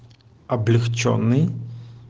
облегчённый